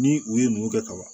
Ni u ye mun kɛ kaban